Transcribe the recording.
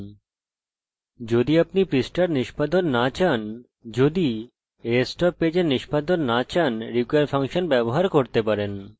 যদি আপনি পৃষ্ঠার নিস্পাদন না চান যদি rest of the page এর নিস্পাদন না চান আপনি require ফাংশন ব্যবহার করতে পারেন